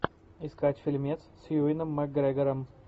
искать фильм с юэном макгрегором